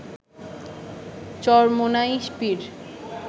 Charmonai Pir